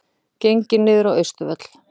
Gengið niður á Austurvöll